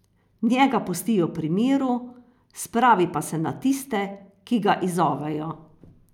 Njega pustijo pri miru, spravi pa se na tiste, ki ga izzovejo.